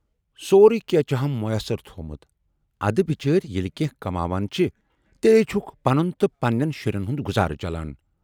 سورُے کینہہ چھُ ہم مویسر تھوومُت، ادٕ بِچٲرۍ ییلہِ کینہہ کماون چھِ تیلی چھُکھ پنُن تہٕ پنہٕ نٮ۪ن شُرٮ۪ن ہُند گُذارٕچلان